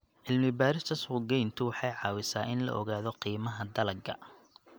Cilmi-baarista suuqgeyntu waxay caawisaa in la ogaado qiimaha dalagga.